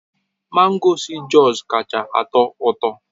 Mango si Jos kacha atọ ụtọ